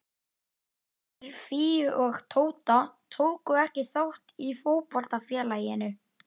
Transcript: Synir Fíu og Tóta tóku ekki þátt í fótboltafélaginu.